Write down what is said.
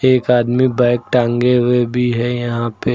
एक आदमी बैग टांगे हुए भी है यहां पे--